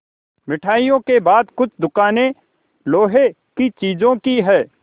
मिठाइयों के बाद कुछ दुकानें लोहे की चीज़ों की हैं